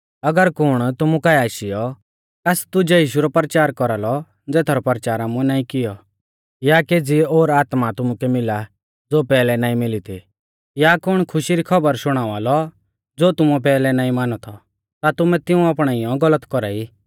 अगर कुण तुमु काऐ आशीयौ कास दुजै यीशु रौ परचार कौरालौ ज़ेथारौ परचार आमुऐ नाईं किऔ या केज़ी ओर आत्मा तुमुकै मिला ज़ो पैहलै नाईं मिली थी या कुण खुशी री खौबर शुणावा लौ ज़ो तुमुऐ पैहलै नाईं मानौ थौ ता तुमैं तिऊं अपणाइयौ गलत कौरा ई